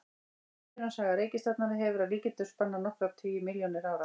Myndunarsaga reikistjarnanna hefur að líkindum spannað nokkra tugi milljóna ára.